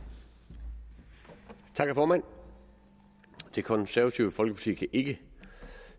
formand det konservative folkeparti kan ikke